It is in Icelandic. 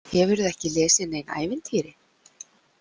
Hefurðu ekki lesið nein ævintýri?